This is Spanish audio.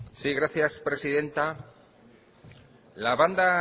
sí gracias presidenta la banda